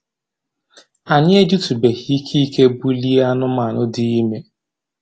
Anyị ejitubeghị ike ike bulie anụmanụ dị ime